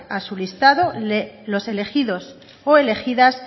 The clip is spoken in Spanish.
a su listado los elegidos o elegidas